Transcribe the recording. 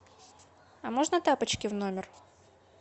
а можно тапочки в номер